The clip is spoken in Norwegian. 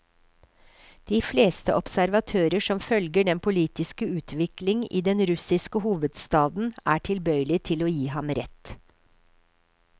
De fleste observatører som følger den politiske utvikling i den russiske hovedstaden er tilbøyelig til å gi ham rett.